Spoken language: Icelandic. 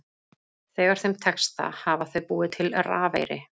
Þegar þeim tekst það hafa þau búið til rafeyri.